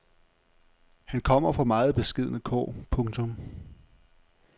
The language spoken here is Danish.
Han kom fra meget beskedne kår. punktum